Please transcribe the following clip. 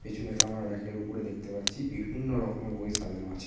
পেছনে তো আমরা রেক এর উপরে দেখতে পাচ্ছি বিভিন্ন রকমের বই সাজানো আছে।